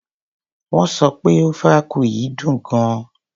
Wón sọ pé ofe akwu yìí dùn gan.